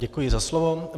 Děkuji za slovo.